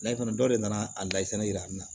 Layi dɔ de nana a layita yira an na